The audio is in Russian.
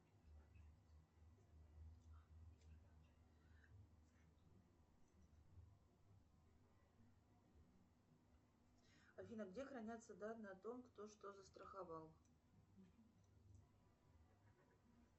афина где хранятся данные о том кто что застраховал